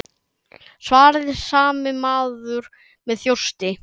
svaraði sami maður með þjósti.